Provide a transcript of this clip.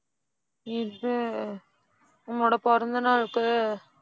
இது உன்னோட பிறந்தநாளுக்கு,